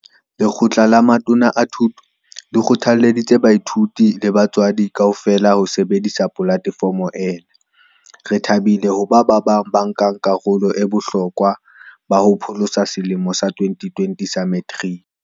Lekgotla la Matona a Thuto le kgothalleditse baithuti le batswadi kaofela ho sebedisa polatefomo ena. "Re thabile hoba ba bang ba banka karolo ba bohlokwa ba ho pholosa selemo sa 2020 sa Meteriki."